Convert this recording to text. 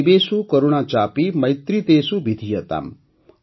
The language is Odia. ଜୀବେଷୁକରୁଣାଚାପି ମୈତ୍ରୀତେଷୁବିଧୀୟତାମ୍